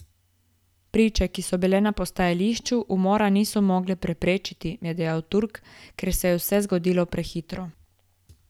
Priče, ki so bile na postajališču, umora niso mogle preprečiti, je dejal Turk, ker se je vse zgodilo prehitro.